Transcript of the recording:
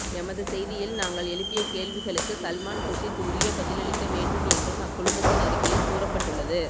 எமது செய்தியில் நாங்கள் எழுப்பிய கேள்விகளுக்கு சல்மான் குர்ஷித் உரிய பதிலளிக்க வேண்டும் என்றும் அக்குழுமத்தின் அறிக்கையில் கூறப்பட்டுள்ளது